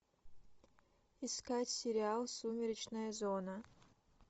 искать сериал сумеречная зона